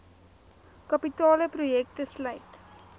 kapitale projekte sluit